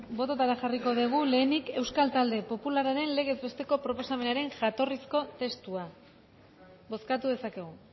bototara jarriko dugu lehenik euskal talde popularraren legez besteko proposamenaren jatorrizko testua bozkatu dezakegu